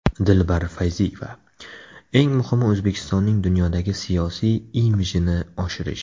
Dilbar Fayziyeva: Eng muhimi O‘zbekistonning dunyodagi siyosiy imijini oshirish.